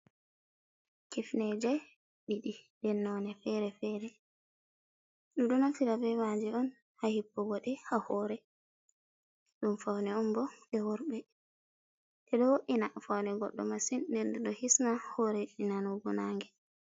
Kifneje ɗiɗi ɗe nnone fere-fere. Ɗim ɗo naftira be kifneje on ha hippugode ha hore. Ɗum faune on bo je worbe. Ɗum do wo’ina faune goddo masin. Ɗeɗɗe do hisna hore nnanugo nange.